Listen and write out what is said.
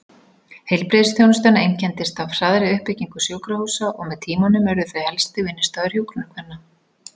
Heilbrigðisþjónustan einkenndist af hraðri uppbyggingu sjúkrahúsa og með tímanum urðu þau helsti vinnustaður hjúkrunarkvenna.